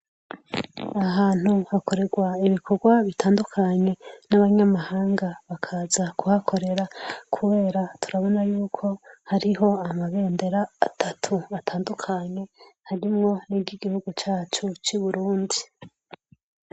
Aha hantu hakorerwa ibikogwa bitandukanye n'abanyamahanga bakaza kuhakorera kubera turabona yuko hariho amabendera atatu atandukanye, harimwo n'iryigihugu cacu c'Uburundi.